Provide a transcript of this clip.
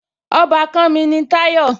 Ọbàkan mi ni Táyọ̀